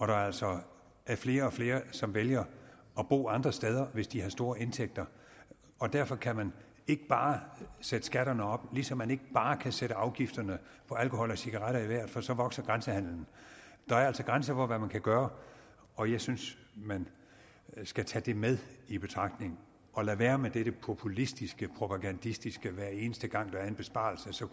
der altså er flere og flere som vælger at bo andre steder hvis de har store indtægter og derfor kan man ikke bare sætte skatterne op ligesom man ikke bare kan sætte afgifterne på alkohol og cigaretter i vejret for så vokser grænsehandelen der er altså grænser for hvad man kan gøre og jeg synes man skal tage det med i betragtning og lade være med dette populistiske propagandistiske med at eneste gang der er en besparelse så